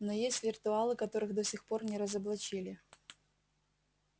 но есть виртуалы которых до сих пор не разоблачили